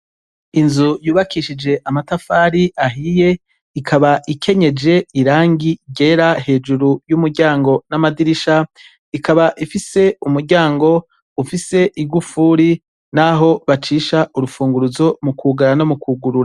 Inzu yubakishije amatafari ahiye, ikaba ikenyeje irangi ryera hejuru y' umiryango n' amadirisha. Ikaba ifise umuryango ufise igufuri naho bacisha urupfunguruzo mu kwugara no mu kwugurura .